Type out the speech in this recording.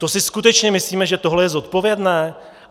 To si skutečně myslíme, že tohle je zodpovědné?